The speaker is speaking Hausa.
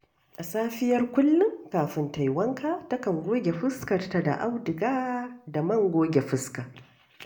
A safiyar kullum kafin ta yi wanka, takan goge fuskarta da auduga da man goge fuska